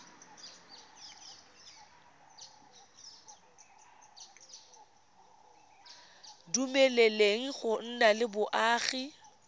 dumeleleng go nna le boagi